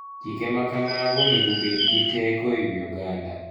Chike ma kamago onego obed gi teko e wi oganda.